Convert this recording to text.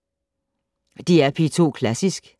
DR P2 Klassisk